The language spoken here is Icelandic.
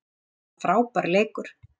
Þetta var frábær leikur